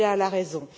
Kabila à la raison.